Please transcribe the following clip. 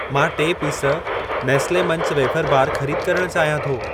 मां टे piece Nestle Munch wafer bar खरीद करण चाहियां थो।